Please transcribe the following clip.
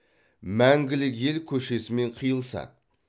мәңгілік ел көшесімен қиылысады